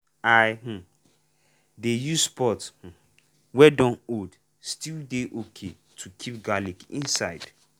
i um dey use pot um wey dun old still dey okay to keep garlic inside.